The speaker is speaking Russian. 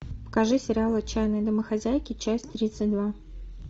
покажи сериал отчаянные домохозяйки часть тридцать два